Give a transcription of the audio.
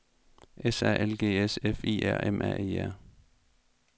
S A L G S F I R M A E R